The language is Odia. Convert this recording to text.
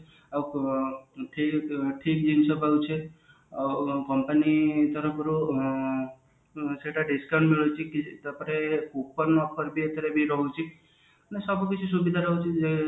ଠିକ ଠିକ ଜିନିଷ ପାଉଛେ ଆଉ company ତରଫରୁ ଆଁ ସେଟା discount ମୁଳୁଛି coupon ରଖନ୍ତି ମାନେ ସବୁ କିଛି ସୁବିଧା ରହୁଛି